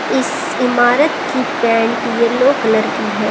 इस इमारत की पेंट येलो कलर की है।